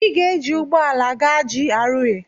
Ị ga-ejị ụgbọ ala gaa GRA